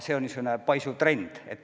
See on niisugune paisuv trend.